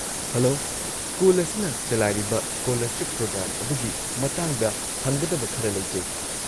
Hello, school ꯑꯁꯤꯅ ꯆꯂꯥꯏꯔꯤꯕ scholarship programme ꯑꯗꯨꯒꯤ ꯃꯇꯥꯡꯗ ꯍꯪꯒꯗꯕ ꯈꯔ ꯂꯩꯖꯩ꯫